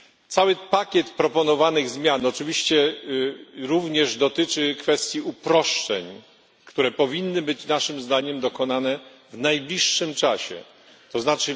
Cały pakiet proponowanych zmian oczywiście również dotyczy kwestii uproszczeń, które powinny być naszym zdaniem dokonane w najbliższym czasie, tzn.